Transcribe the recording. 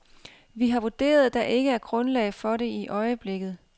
Vi har vurderet, der ikke er grundlag for det i øjeblikket.